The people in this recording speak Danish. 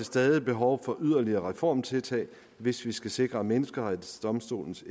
stadig behov for yderligere reformtiltag hvis vi skal sikre menneskerettighedsdomstolens